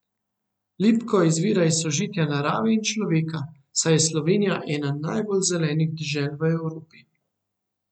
Lipko izvira iz sožitja narave in človeka, saj je Slovenija ena najbolj zelenih dežel v Evropi.